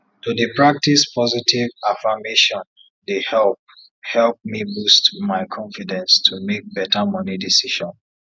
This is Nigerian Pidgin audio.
to dey pratcise positive affirmation dey help help me boost my confidence to make better money decision